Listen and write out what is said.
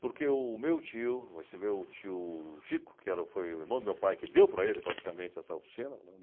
Porque o meu tio, esse meu tio Chico, que era... foi o irmão do meu pai, que deu para ele praticamente essa oficina.